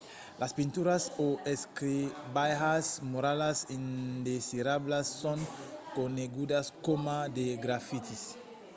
las pinturas o escrivalhas muralas indesirablas son conegudas coma de grafitis